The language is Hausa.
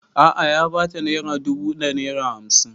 A'a ya ba ta naira dubu da naira hamsin